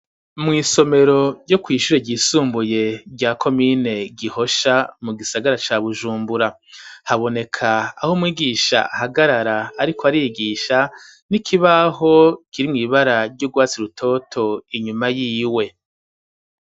Mw'isomero ryo kw'ishure ryisumbuye rya komine Gihosha, mu gisagara ca Bujumbura, haboneka aho mwigisha ahagarara ariko arigisha n'ikibaho kirimwo ibara ry'urwatsi rutoto, inyuma yiwe.